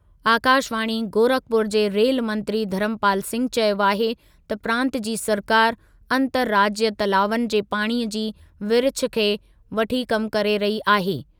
आकाशवाणी, गोरखपुर जे रेजु मंत्री धर्मपाल सिंह चयो आहे त प्रांतु जी सरकारि अंतरराज्य तलावनि जे पाणीअ जी विरिछ खे वठी कमु करे रही आहे।